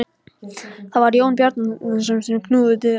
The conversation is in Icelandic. Það var Jón Bjarnason sem knúði dyra.